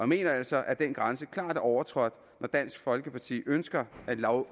mener altså at den grænse klart er overtrådt når dansk folkeparti ønsker at lovgive